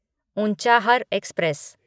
Unchahar express